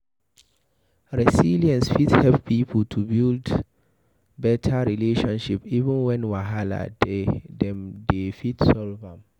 Resilience fit help pipo to fit build better relationship even when wahala dey dem dey fit solve am